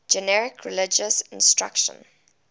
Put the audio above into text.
generic religious instruction